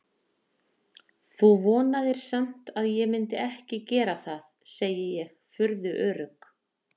Þú vonaðir samt að ég myndi ekki gera það, segi ég, furðu örugg.